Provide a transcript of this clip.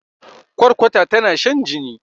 kwarkwata tana shan jini